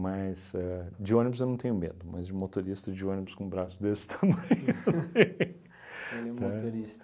a de ônibus eu não tenho medo, mas de motorista de ônibus com braço desse tamanho, eu tenho, tá?... Ele é um motorista.